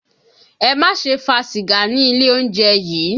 Ẹ má ṣe fa sìgá ní ilé oúnjẹ yìí!